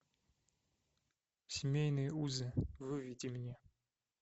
семейные узы выведи мне